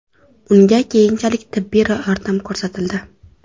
Unga keyinchalik tibbiy yordam ko‘rsatildi.